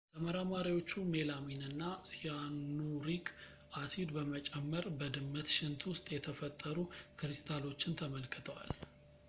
ተመራማሪዎቹ ሜላሚን እና ሲያኑሪክ አሲድ በመጨመር በድመት ሽንት ውስጥ የተፈጠሩ ክሪስታሎችን ተመልክተዋል